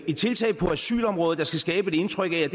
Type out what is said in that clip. et tiltag på asylområdet der skal skabe et indtryk af at